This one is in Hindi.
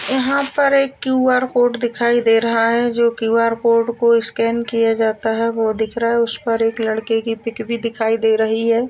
यहाँं पर एक क्यू_आर दिखाई दे रहा है जो कि क्यू_आर को स्कैन किया जाता है। वो दिख रहा है उस पर एक लड़के की पिक भी दिखाई दे रही है।